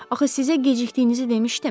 Axı sizə gecikdiyinizi demişdim?